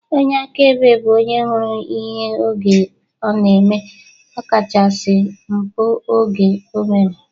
Onye akaebe bụ onye hụrụ ihe oge ọ na-eme, ọkachasị mpụ oge o mere